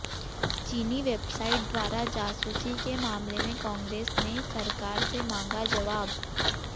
चीनी वेबसाइट द्वारा जासूसी के मामले में कांग्रेस ने सरकार से मांगा जवाब